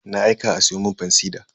Na aika a siyo mun fansida.